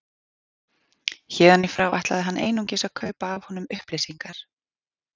Héðan í frá ætlaði hann einungis að kaupa af honum upplýsingar.